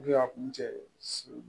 a kun cɛ siri